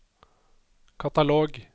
katalog